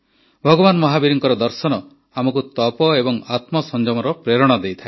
ଭଗବାନ ମହାବୀରଙ୍କ ଦର୍ଶନ ଆମକୁ ତପ ଏବଂ ଆତ୍ମସଂଯମର ପ୍ରେରଣା ଦିଏ